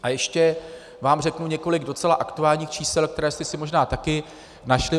A ještě vám řeknu několik docela aktuálních čísel, která jste si možná taky našli.